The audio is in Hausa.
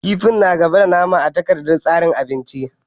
Kifin na gaba da nama a takardar tsarin abinci